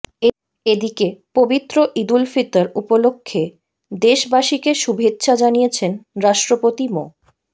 এদিকে পবিত্র ঈদুল ফিতর উপলক্ষে দেশবাসীকে শুভেচ্ছা জানিয়েছেন রাষ্ট্রপতি মো